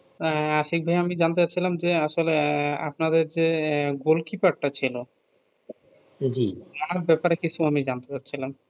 আহ আশিক ভাইয়া আমি জানতে চাচ্ছিলাম যে আসলে আহ আপনাদের যে goalkeeper টা ছিলও টার ব্যাপারে কিছু আমি জানতে চাচ্ছিলাম